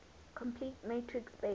complete metric space